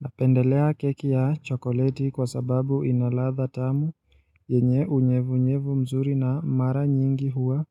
Napendelea keki ya chokoleti kwa sababu ina ladha tamu yenye unyevunyevu mzuri na mara nyingi huwa